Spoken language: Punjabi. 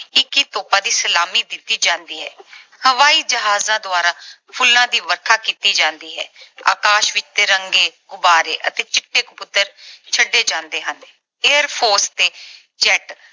ਇੱਕੀ ਤੋਪਾਂ ਦੀ ਸਲਾਮੀ ਦਿੱਤੀ ਜਾਂਦੀ ਹੈ। ਹਵਾਈ ਜਹਾਜਾਂ ਦੁਆਰਾ ਫੁੱਲਾਂ ਦੀ ਵਰਖਾ ਕੀਤੀ ਜਾਂਦੀ ਹੈ। ਆਕਾਸ਼ ਵਿੱਚ ਤਿਰੰਗੇ, ਗੁਬਾਰੇ ਅਤੇ ਚਿੱਟੇ ਕਬੂਤਰ ਛੱਡੇ ਜਾਂਦੇ ਹਨ। ਤੇ Air Force ਤੇ jet